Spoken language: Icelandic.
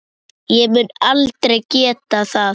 Ég mun aldrei geta það.